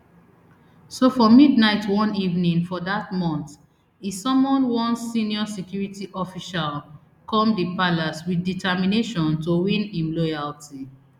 so for midnight one evening for dat month e summon one senior security official come di palace wit determination to win im loyalty